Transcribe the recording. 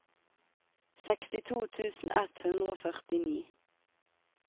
sekstito tusen ett hundre og førtini